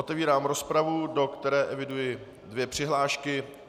Otevírám rozpravu, do které eviduji dvě přihlášky.